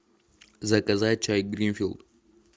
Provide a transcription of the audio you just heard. заказать чай гринфилд